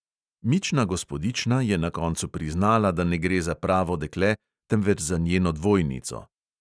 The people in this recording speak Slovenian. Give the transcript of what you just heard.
Mična gospodična je na koncu priznala, da ne gre za pravo dekle, temveč za njeno dvojnico.